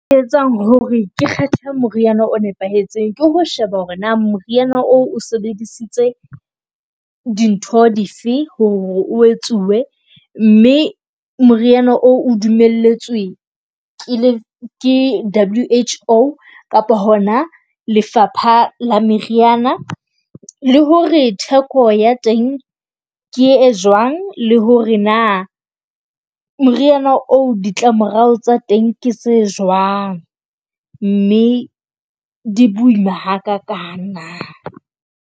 E etsang hore ke kgetha moriana o nepahetseng ke ho sheba hore na moriana oo o sebedisitse dintho dife hore etsuwe mme moriana oo o dumelletswe ke W_H_O. Kapa hona lefapha la meriana le hore theko ya teng ke e jwang, le hore na moriana oo ditlamorao tsa teng ke tse jwang. Mme di boima ha ka kang na.